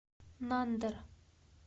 нандер